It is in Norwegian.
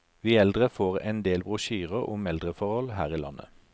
Vi eldre får endel brosjyrer om eldreforhold her i landet.